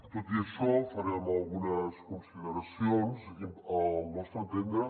tot i això farem algunes consideracions al nostre entendre